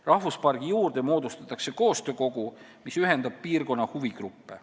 Rahvuspargi juurde moodustatakse koostöökogu, mis ühendab piirkonna huvigruppe.